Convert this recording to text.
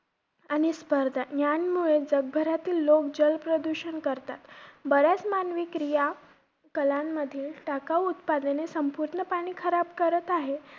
आणि स्पर्धा यांमुळे जगभरातील लोक जलप्रदूषण करतात. बऱ्याच मानवी क्रिया, कलांमध्ये टाकाऊ उत्पादने पूर्ण पाणी खराब करत आहेत.